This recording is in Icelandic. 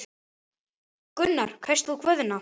Gunnar: Kaust þú Guðna?